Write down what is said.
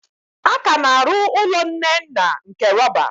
A ka na-arụ ụlọ Nnenna nke rọba.